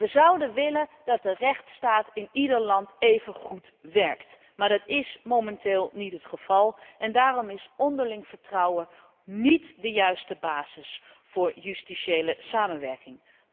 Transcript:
Wij zouden willen dat de rechtsstaat in ieder land even goed werkt, maar dat is momenteel niet het geval en daarom is onderling vertrouwen niet de juiste basis voor justitiële samenwerking.